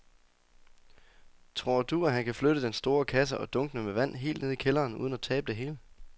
Tror du, at han kan flytte den store kasse og dunkene med vand ned i kælderen uden at tabe det hele?